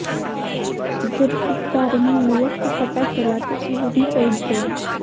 जब इस बारे में युवक को पता चला तो वो भी पहुंच गया